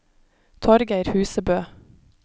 Torgeir Husebø